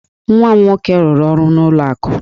Nwa m nwoke rụrụ ọrụ n'ụlọ akụ.